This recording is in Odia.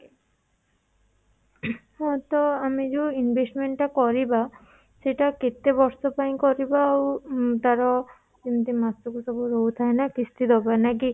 ହଁ ତ ଆମେ ଯୋଉ investment ଟା କରିବା ସେଇଟା କେତେ ବର୍ଷ ପାଇଁ କରିବା ଆଉଉଁ ତାର ଯେମିତି ମାସକୁ ସବୁ ରହୁଥାଏ ନା କିସ୍ତି ଦବା ଲାଗି